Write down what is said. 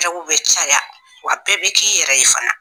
bɛ caya wa bɛɛ bɛ k'i yɛrɛ ye fana